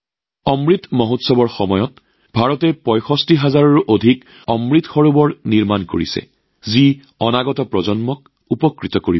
অমৃত মহোৎসৱৰ সময়ত ভাৰতে যি ৬৫ হাজাৰৰো অধিক অমৃত সৰোৱৰ গঢ়ি তুলিছে সেইটোৱে ভৱিষ্যৎ প্ৰজন্মক উপকৃত কৰিব